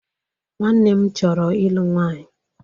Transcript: Nwanne m chọrọ ịlụ nwanyị.